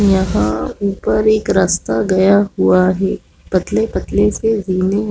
यहाँ ऊपर पर एक रस्ता गया हुआ है पतले-पतले से रेलिंग --